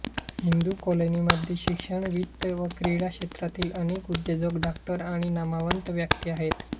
हिंदू कॉलनीमध्ये शिक्षण वित्त व क्रीडा क्षेत्रातील अनेक उद्योजक डॉक्टर आणि नामवंत व्यक्ती आहेत